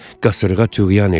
Qasırğa tuğyan eləyir.